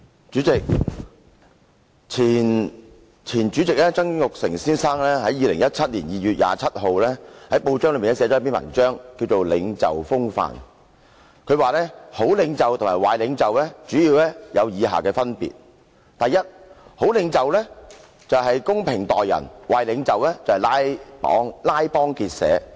主席，前主席曾鈺成先生於2017年2月27日，在報章寫了一篇名為"領袖風範"的文章，提到好領袖和壞領袖主要有以下分別："第一，好領袖公正待人，壞領袖拉幫結派。